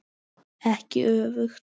Ekki öfugt.